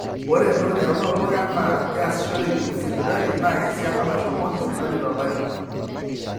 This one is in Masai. ore entoki naitodolu enaa keasishoreki sipitali naa esiana naashomoki sipitali tolari